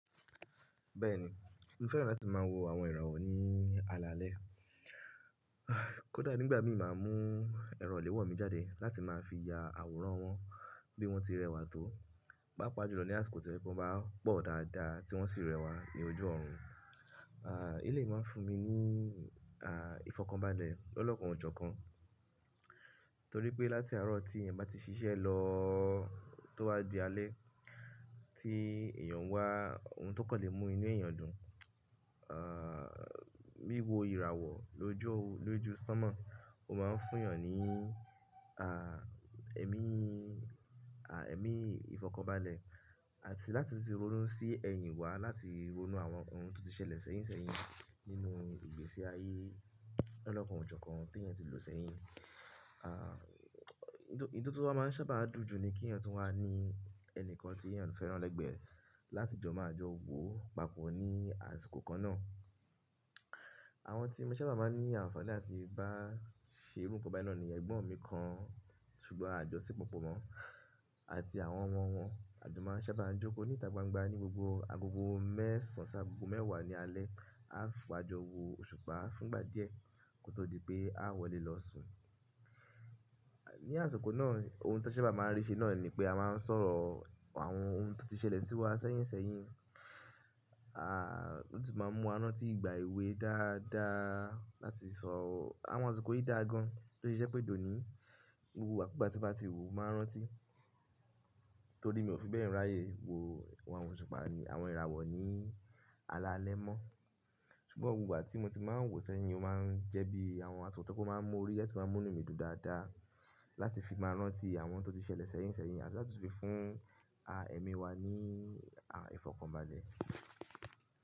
Bẹ́ẹ̀ni, mo fẹ́ràn láti máa wo àwọn ìràwọ̀ ní alaalẹ́. Kódà nígbàgbọ̀n mi máa ń mú ẹ̀rọ ò lè wọ̀ mi jáde láti máa fi ya àwòrán wọn bí wọ́n ti rẹwà tó. Pápá ojú lọ́nà àsìkò tí ẹbí wọn bá pọ̀ dáadáa tí wọ́n sì rẹwà ní ojú ọ̀run. Ah, ilé yìí máa ń fún mi ní, ah, ìfọkànbalẹ̀ lọ́lọ́kan òjọ̀ kan. Torí pé láti àárọ̀ tí èèyàn bá ti ṣiṣẹ́ lọ tó wá di alẹ́, tí èèyàn wá ohun tó kọ̀ lè mú inú èèyàn dùn, ah, wiwo ìràwọ̀ lójú sánmọ̀, ó máa ń fún èèyàn ní, ah, ẹ̀mí, ah, ẹ̀mí ìfọkànbalẹ̀ àti láti sì ronú sí ẹ̀yìn wá láti ronú àwọn ohun tó ti ṣẹlẹ̀ sẹ́yìn sẹ́yìn nínú ìgbésí ayé lọ́lọ́kan òjọ̀ kan tí èèyàn ti lò sẹ́yìn. Ah, èyí tó máa ń sábà dùn jù ni kí èèyàn tó wá ní ẹni kan tí èèyàn fẹ́ràn lẹ́gbẹ̀ẹ́ láti jọ máa jọ wo papọ̀ ní àsìkò kan náà. Àwọn tí mo sábà máa ń ní àǹfààní láti bá ṣe irú nǹkan bẹ́ẹ̀ náà ni ẹgbọ́n mi kan, ṣùgbọ́n a jọ sí pọ̀pọ̀ mọ́ àti àwọn ọmọ wọn. A jọ máa ń sábà jókòó níta gbangba ní gbogbo agogo mẹ́sàn sáà agogo mẹ́wàá ní alẹ́. A fún wa jọ wo òṣùpá fún ìgbà díẹ̀ kó tó di pé a wọlé lọ sùn. Ni àsìkò náà, ohun tó sábà máa ń rí ṣe náà ni pé a máa ń sọ̀rọ̀ àwọn ohun tó ti ṣẹlẹ̀ sí wa sẹ́yìn sẹ́yìn. Ah, ó sì máa ń mú arántí ìgbà èwe dáadáa láti sọ̀rọ̀. Àwọn àsìkò yìí dà gan, tó ṣe ṣẹ́ pé dòní. Gbogbo igbá ku gba tí bá ti wu mo máa ń rántí. Torí mi ò fi bẹ́ẹ̀ ráyè wo àwọn òṣùpá ni àwọn ìràwọ̀ ní alaalẹ́ mọ́. Ṣùgbọ́n gbogbo àwọn tí mo ti máa ń wò sẹ́yìn máa ń jẹ́ bí àwọn àsọ̀tàn tó máa ń mú oríyẹ̀ tí máa ń mú inú mi dùn dáadáa láti fi máa rántí àwọn tó ti ṣẹlẹ̀ sẹ́yìn sẹ́yìn àti láti fi fún, ah, ẹ̀mí wa ní, ah, ìfọkànbalẹ̀.